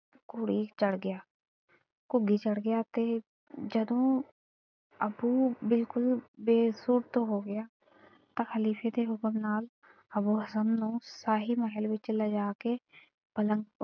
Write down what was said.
ਘੋੜੀ ਚੜ੍ਹ ਗਿਆ ਘੁੱਗੀ ਚੜ੍ਹ ਗਿਆ ਤੇ ਜਦੋਂ ਅੱਬੂ ਬਿਲਕੁੱਲ ਬੇਸੁਰਤ ਹੋ ਗਿਆ। ਖ਼ਲੀਫ਼ੇ ਦੇ ਹੁਕਮ ਨਾਲ ਅੱਬੂ ਹਸਨ ਨੂੰ ਸ਼ਾਹੀ ਮਹੱਲ ਵਿਚ ਲਿਜਾ ਕੇ ਪਲੰਘ,